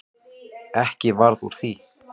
Ekki varð úr því.